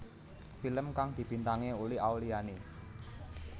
Film kang dibintangi Uli Auliani